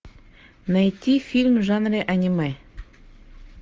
найти фильм в жанре аниме